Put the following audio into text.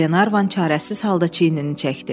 Glenarvan çarəsiz halda çiyinini çəkdi.